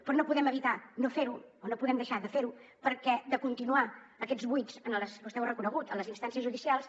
però no podem evitar no fer ho o no podem deixar de fer ho perquè de continuar aquests buits vostè ho ha reconegut a les instàncies judicials